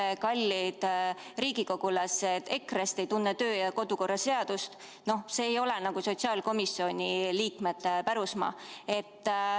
See, et kallid ametikaaslased EKRE-st ei tunne kodu- ja töökorra seadust, ei ole sotsiaalkomisjoni liikmete parandada.